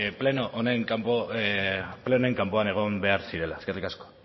pleno honen kanpoan egon behar zirela eskerrik asko